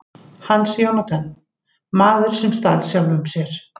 Hans Jónatan: Maðurinn sem stal sjálfum sér.